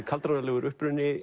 kaldranalegur uppruni